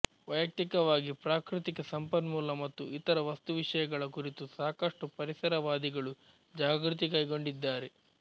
ವೈಯಕ್ತಿಕವಾಗಿ ಪ್ರಾಕೃತಿಕ ಸಂಪನ್ಮೂಲ ಮತ್ತು ಇತರ ವಸ್ತುವಿಷಯಗಳ ಕುರಿತು ಸಾಕಷ್ಟು ಪರಿಸರವಾದಿಗಳು ಜಾಗೃತಿ ಕೈಗೊಂಡಿದ್ದಾರೆ